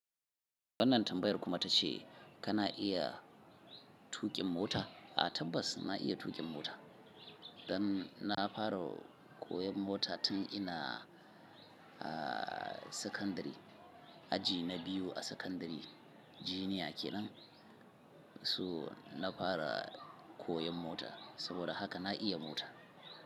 Wannan tambayar kuma ta ce kana iya tuƙin mota? A tabbas na iya tuƙin mota. Dan na fara koyan mota tun inaa a sakandari aji na biyu a sakandari jiniya kenan. So na fara koyon mota saboda haka na iya mota.